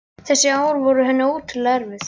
Þessi ár voru henni ótrúlega erfið.